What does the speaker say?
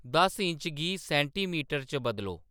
दस इंच गी सैंटीमीटर च बदलो